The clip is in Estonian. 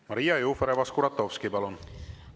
Maria Jufereva-Skuratovski, palun!